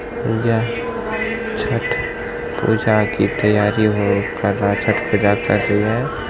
यह छठ पूजा की तैयारी हो कर रहा छठ पूजा कर रही है।